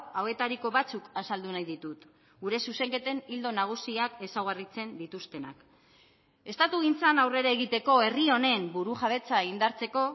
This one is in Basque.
hauetariko batzuk azaldu nahi ditut gure zuzenketen ildo nagusiak ezaugarritzen dituztenak estatugintzan aurrera egiteko herri honen burujabetza indartzeko